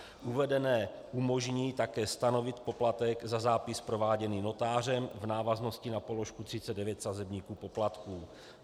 Uvedené umožní také stanovit poplatek za zápis prováděný notářem v návaznosti na položku 39 sazebníku poplatků.